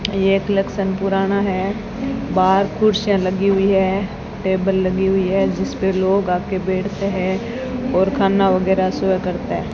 यह कलेक्शन पुराना है बाहर कुर्सियां लगी हुई है टेबल लगी हुई है जिस पर लोग आ के बैठते हैं और खाना वगैरह सर्व करते हैं।